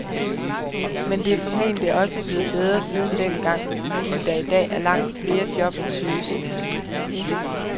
Men det er formentlig også blevet bedre siden dengang, fordi der i dag er langt flere job at søge, siger han.